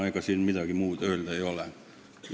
Ega siin midagi muud öelda ei ole.